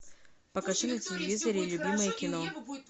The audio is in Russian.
покажи на телевизоре любимое кино